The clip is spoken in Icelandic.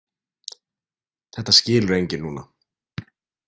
Þetta skilur enginn núna.